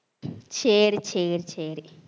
சரி சரி சரி